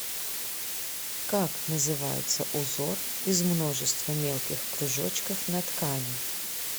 как называется узор из множества мелких кружочков на ткани